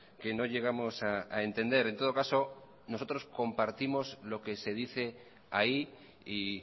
que no llegamos a entender en todo caso nosotros compartimos lo que se dice ahí y